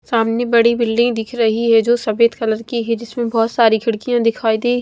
सामने बड़ी बिल्डिंग दिख रही है जो सफेद कलर की है जिसमें बहोत सारी खिड़कियां दिखाई दे--